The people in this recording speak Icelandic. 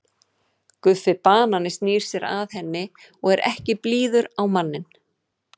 Guffi banani snýr sér að henni og er ekki blíður á manninn.